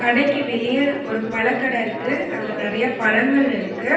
கடைக்கு வெளிய ஒரு பழக்கட இருக்கு அதுல நெறைய பழங்கள் இருக்கு.